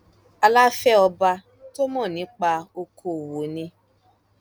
aláfẹ ọba tó mọ nípa okòòwò ni